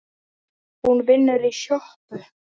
Hún vinnur í sjoppu